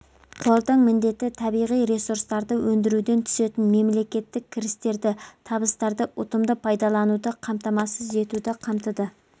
қордың міндеті табиғи ресурстарды өндіруден түсетін мемлекеттік кірістерді табыстарды ұтымды пайдалануды қамтамасыз етуді қамтыды